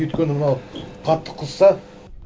өйткені мынау қатты қызса